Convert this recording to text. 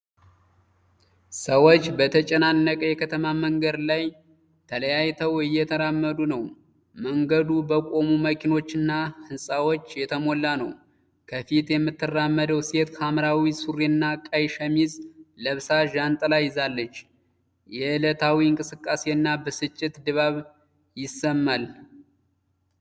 ሰዎች በተጨናነቀ የከተማ መንገድ ላይ፣ ተለያይተው እየተራመዱ ነው። መንገዱ በቆሙ መኪኖችና ህንፃዎች የተሞላ ነው። ከፊት የምትራመደው ሴት ሐምራዊ ሱሪና ቀይ ሸሚዝ ለብሳ ዣንጥላ ይዛለች። የዕለታዊ እንቅስቃሴና ብስጭት ድባብ ይሰማል።